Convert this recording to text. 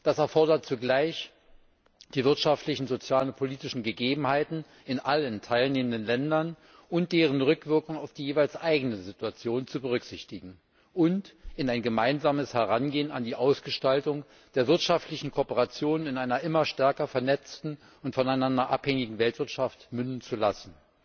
Das erfordert, zugleich die wirtschaftlichen, sozialen und politischen Gegebenheiten in allen teilnehmenden Ländern und deren Rückwirkung auf die jeweils eigene Situation zu berücksichtigen und in gemeinsames Herangehen an die Ausgestaltung der wirtschaftlichen Kooperation in einer immer stärker vernetzten und voneinander abhängigen Weltwirtschaft münden zu lassen.